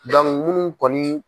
munnu kɔni